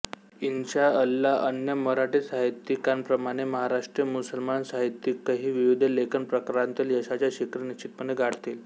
इन्शा अल्ला अन्य मराठी साहित्यिकांप्रमाणे महाराष्ट्रीय मुसलमान साहित्यिकही विविध लेखन प्रकारांतील यशाची शिखरे निश्चितपणे गाठतील